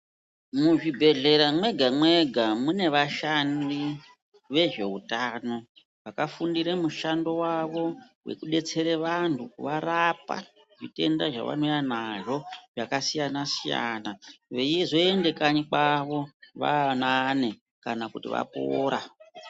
Muzvibhedhlera mwega- mwega mune vashandi vezveutano vakafundire mushando wavo wekudetsere vantu kuvarapa zvitenda zvavanouya nazvo zvakasiyana- siyana veizoende kanyi kwavo vaanani kana kuti vapora.